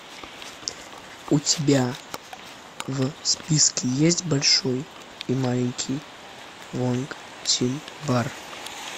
у тебя в списке есть большой и маленький вонг тин бар